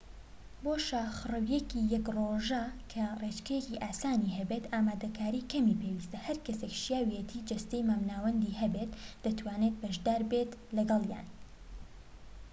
بۆ شاخڕەویەکی یەك ڕۆژە کە ڕێچکەیەکی ئاسانی هەبێت ئامادەکاریی کەمی پێویستە هەرکەسێك شیاوێتی جەستەیی مامناوەندی هەبێت دەتوانێت بەشداربێت لەگەڵیان